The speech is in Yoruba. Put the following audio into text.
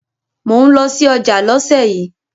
Mò ń lọ sí ọjà lọ́sẹ̀ yìí.